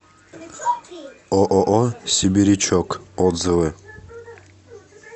ооо сибирячок отзывы